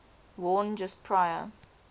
worn just prior